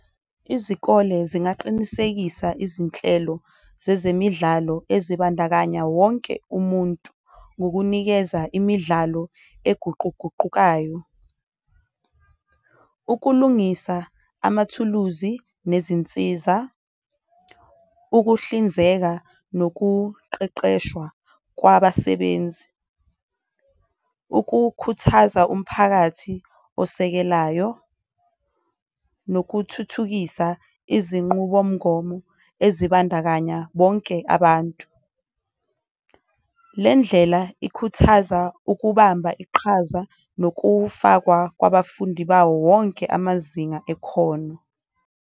Izikole zingaqinisekisa izinhlelo zezemidlalo ezibandakanya wonke umuntu ngokunikeza imidlalo eguquguqukayo, ukulungisa amathuluzi nezinsiza, ukuhlinzeka nokuqeqeshwa kwabasebenzi, ukukhuthaza umphakathi osekelayo, nokuthuthukisa izinqubomgomo ezibandakanya bonke abantu. Le ndlela ikhuthaza ukubamba iqhaza nokufakwa kwabafundi bawo wonke amazinga ekhona.